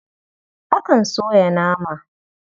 Akan soya nama.